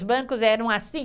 Os bancos eram assim.